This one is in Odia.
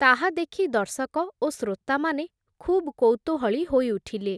ତାହା ଦେଖି ଦର୍ଶକ ଓ ଶ୍ରୋତାମାନେ, ଖୁବ୍ କୌତୂହଳୀ ହୋଇଉଠିଲେ ।